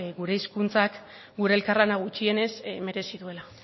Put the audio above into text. gure hizkuntzak gure elkarlana gutxienez merezi duela